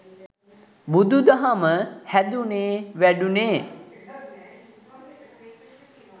බුදුදහම හැදුනේ වැඩුනේ